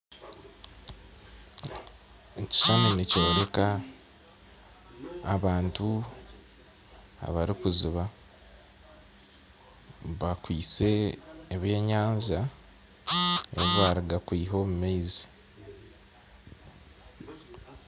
Ekishushani nikyoreka abantu abarikujuba bakwitse ebyenyanja ebi barikuruga kwiha omu maizi